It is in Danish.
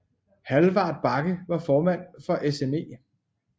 Hallvard Bakke var formand for SME